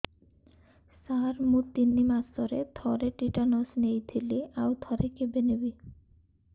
ସାର ମୁଁ ତିନି ମାସରେ ଥରେ ଟିଟାନସ ନେଇଥିଲି ଆଉ ଥରେ କେବେ ନେବି